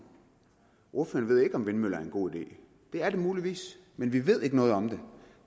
ordføreren ved ikke om vindmøller er en god idé det er det muligvis men vi ved ikke noget om det